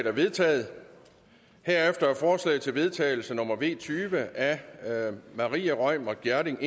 er vedtaget herefter er forslag til vedtagelse nummer v tyve af maria reumert gjerding